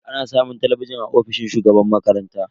Ana samun talabijin a ofishin shugaban makaranta.